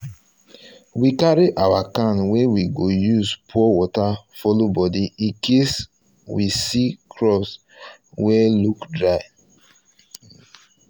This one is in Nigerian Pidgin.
we carry our can wey we go use use pour water follow body incase we see crops wey look dry